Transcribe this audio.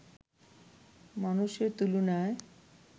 মানুষের তুলনায়